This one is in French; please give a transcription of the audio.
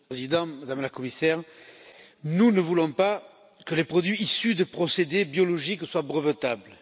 Monsieur le Président, Madame la Commissaire, nous ne voulons pas que les produits issus de procédés biologiques soient brevetables.